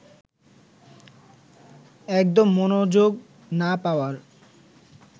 একদম মনোযোগ না পাওয়ার